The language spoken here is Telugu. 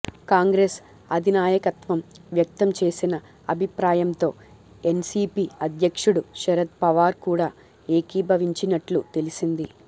కాంగ్రెస్ అధినాయకత్వం వ్యక్తం చేసిన అభిప్రాయంతో ఎన్సీపీ అధ్యక్షుడు శరద్ పవార్ కూడా ఏకీభవించినట్లు తెలిసింది